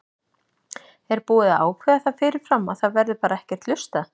Er búið að ákveða það fyrirfram að það verði bara ekkert hlustað?